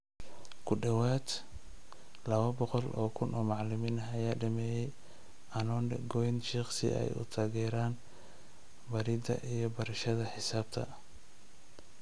Ku dhawaad ?? lawo boqol oo kun oo macalimiin ah ayaa dhameeyay Anonde Gonit Shikhi si ay u taageeraan baridda iyo barashada xisaabta.